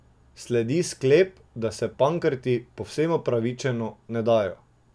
Sledi sklep, da se Pankrti, povsem upravičeno, ne dajo.